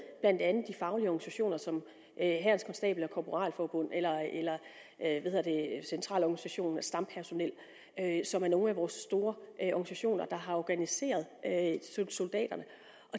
blandt andet de faglige organisationer som hærens konstabel og korporalforbund eller centralorganisationen for stampersonel som er nogle af vores store organisationer der har organiseret soldaterne